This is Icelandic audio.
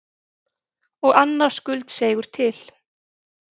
Og annar skuldseigur til.